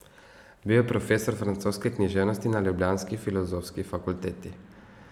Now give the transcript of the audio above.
Bil je profesor francoske književnosti na ljubljanski filozofski fakulteti.